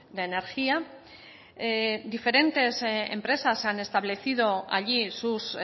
de energía diferentes empresas han establecido allí sus